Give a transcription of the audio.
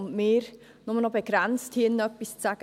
Hier haben wir nur noch begrenzt etwas zu sagen.